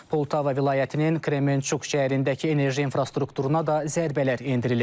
Poltava vilayətinin Kremençuk şəhərindəki enerji infrastrukturuna da zərbələr endirilib.